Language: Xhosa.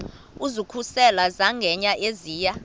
ukuzikhusela zangena eziya